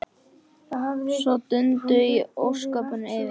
Svo dundu ósköpin yfir.